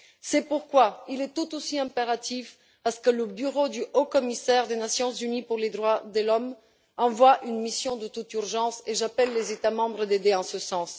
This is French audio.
C'est pourquoi il est tout aussi impératif que le Haut Commissariat des Nations unies aux droits de l'homme envoie une mission de toute urgence, et j'appelle les États membres à aider en ce sens.